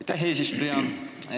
Aitäh, eesistuja!